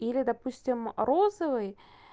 или допустим розовый